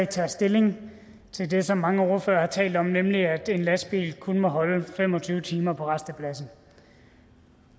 tager stilling til det som mange ordførere har talt om nemlig at en lastbil kun må holde fem og tyve timer på rastepladsen